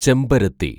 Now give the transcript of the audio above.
ചെമ്പരത്തി